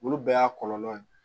Olu bɛɛ y'a kɔlɔlɔ ye